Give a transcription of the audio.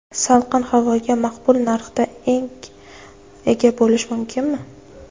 Salqin havoga maqbul narxda ega bo‘lish mumkinmi?